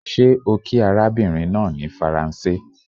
Ṣé ó kí arabinrin naa ní Faranse?